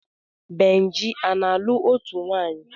Benji ana-alụ ótù nwaanyi?